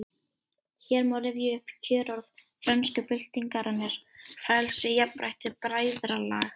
Hér má rifja upp kjörorð frönsku byltingarinnar: Frelsi, jafnrétti, bræðralag